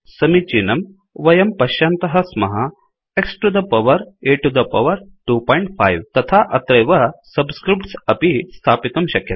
समीचीनं वयं पश्यन्तः स्मः X to the power A to the power 25 तथा अत्रैव सब्स्क्रिफ्ट्स् अपि स्थापितुं शक्यते